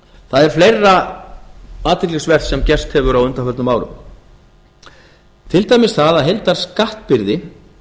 það er fleira athyglisvert sem gerst hefur á undanförnum árum til dæmis það að heildarskattbyrði